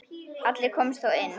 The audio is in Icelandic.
Allir komust þó inn.